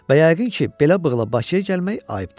Və yəqin ki, belə bığla Bakıya gəlmək ayıbdır.